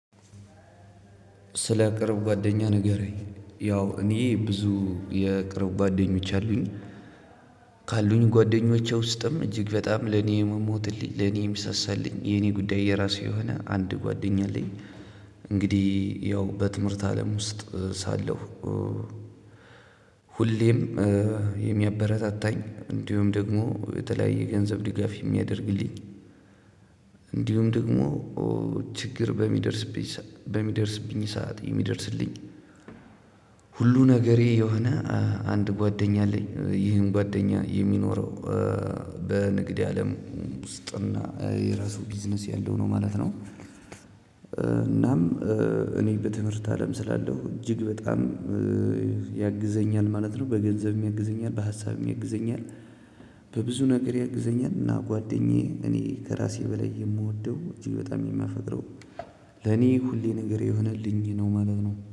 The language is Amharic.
ስለ ቅርብ ጓደኛህ ንገረኝ? ያው እኔ ብዙ የቅርብ ጓደኞች አሉኝ። ካሉኝ ጓደኞቼ ውስጥም እጅግ በጣም ለኔ የምሞትልኝ ለኔ የምሳሳልኝ የኔ ጉዳይ የራሱ የሆነ አንድ ጓደኛ አለኝ። እንግዲህ ያው በትምህርት አለም ውስጥ ሳለሁ። ሁሌም የሚያበረታታኝ እንዲሁም ደግሞ የተለያየ ገንዘብ ድጋፍ የሚያደርግልኝ። እንዲሁም ደግሞ ችግር በሚደርስብኝ በሚደርስብኝ ሰዓት የሚደርስልኝ። ሁሉ ነገሬ የሆነ። አንድ ጓደኛ አለኝ ይህም ጓደኛ የሚኖረው በንግድ አለም ውስጥና የራሱ ቢዝነስ ያለው ነው ማለት ነው። እናም እኔ በትምህርት አለም ስላለው እጅግ በጣም ያግዘኛል ማለት ነው። በገንዘብ ያግዘኛል በሀሳብ ያግዘኛል። በብዙ ነገር ያግዘኛል እና ጓደኛዬ እኔ ከራሴ በላይ የምወደው እጄግ በጣም የማፈቅረው። ለኔ ሁሌ ነገሬ የሆነልኝ ነው ማለት ነው